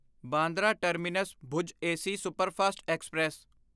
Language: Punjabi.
Bandra Terminus Bhuj AC Superfast express